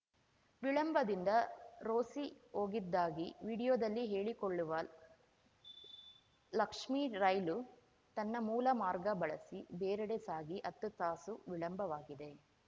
ವಿಳಂಬದಿಂದ ರೋಸಿ ಹೋಗಿದ್ದಾಗಿ ವಿಡಿಯೋದಲ್ಲಿ ಹೇಳಿಕೊಳ್ಳುವ ಲಕ್ಷ್ಮಿ ರೈಲು ತನ್ನ ಮೂಲ ಮಾರ್ಗ ಬಳಸಿ ಬೇರೆಡೆ ಸಾಗಿ ಹತ್ತು ತಾಸು ವಿಳಂಬವಾಗಿದೆ